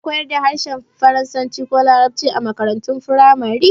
Ana koyar da harshen faransanci ko larabci a makarantun firamare